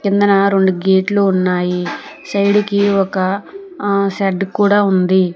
కిందున రెండు గేట్లు ఉన్నాయి సైడ్ కి ఒక ఆ షెడ్ కూడా ఉంది.